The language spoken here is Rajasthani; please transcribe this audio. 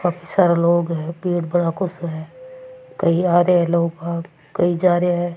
काफी सारा लोग है पेड़ सो है कई आ रिया है लोग कई जा रिया है।